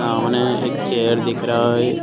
सामने एक चेयर दिख रहा है।